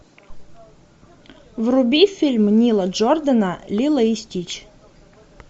вруби фильм нила джордана лило и стич